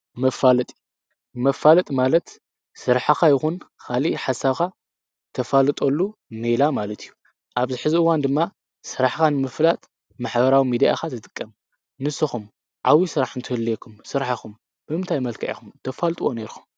መፋለጢ መፋለጥ ማለት ሠራሓኻ ይኹን ኻሊ ሓሳኻ ተፋልጦሉ ነላ ማለት እዩ ኣብ ዝ ኅዝእዋን ድማ ሥራሕኻ ንምፍላጥ ማኅበራዊ ሚድኣኻ ትጥቀም ንስኹም ዓዊ ሥራሕ እንተልየኩም ሥርሓኹም ብእምታይ መልከአኹም ተፋልጥዎ ነይርኹም።